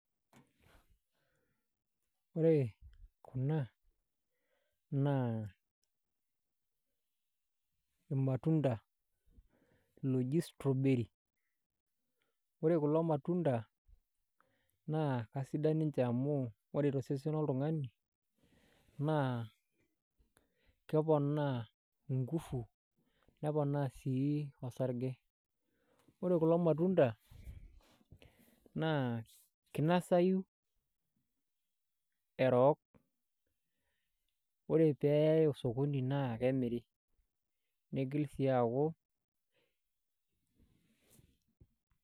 Ore kuna naa ilmatunda ooji screwberrry ore kulo matunda naa kesidan ninje amu ore tosesen loltunganak naa keponaa inkufu neponaa sii orsage. Ore kulo matunda naa kinosayu orook ore peeyai osokoni naa kemiri niigil sii aaku.